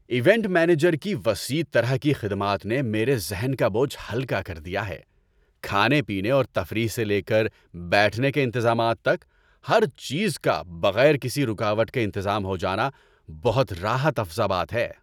Event manager کی وسیع طرح کی خدمات نے میرے ذہن کا بوجھ ہلکا کر دیا ہے – کھانے پینے اور تفریح سے لے کر بیٹھنے کے انتظامات تک؛ ہر چیز کا بغیر کسی رکاوٹ کے انتظام ہو جانا بہت راحت افزا بات ہے۔